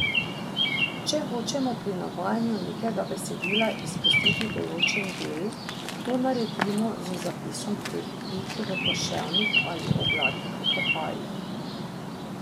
Če hočemo pri navajanju nekega besedila izpustiti določen del, to naredimo z zapisom treh pik v poševnih ali oglatih oklepajih.